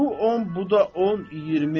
Bu 10, bu da 10, 20.